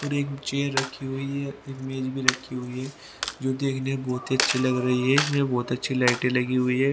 और एक चेयर रखी हुई है एक मेज भी रखी हुई है जो देखने में बहुत ही अच्छी लग रही है इसमें बहुत अच्छी लाइटें लगी हुई है।